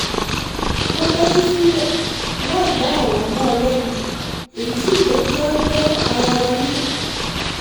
mo tẹ́tí sílẹ̀ láìdá ọ̀rọ̀ mọ́ ọn lẹ́nu èyí sì jẹ́ kí a gbọ́ ara wa yé